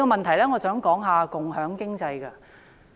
第二，我想說一說共享經濟。